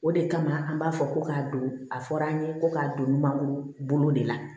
O de kama an b'a fɔ ko k'a don a fɔra an ye ko k'a don mangoro bolo de la